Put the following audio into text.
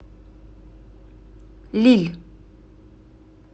лилль